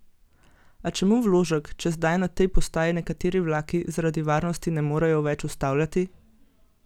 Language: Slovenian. A čemu vložek, če zdaj na tej postaji nekateri vlaki zaradi varnosti ne morejo več ustavljati?